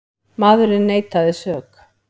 Maðurinn neitaði sök.